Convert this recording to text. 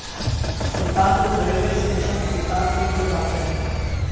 سلطان پور railway station Sultanpur میں واقع ہے